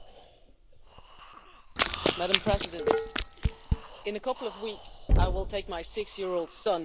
Madam President, in a couple of weeks I will take my six year old son to London for the first time